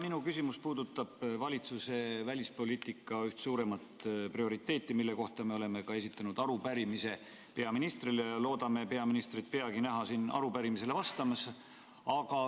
Minu küsimus puudutab valitsuse välispoliitika üht suuremat prioriteeti, mille kohta me oleme ka esitanud arupärimise peaministrile ja loodame teda peagi näha siin arupärimisele vastamas.